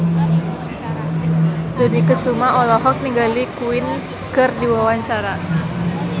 Dony Kesuma olohok ningali Queen keur diwawancara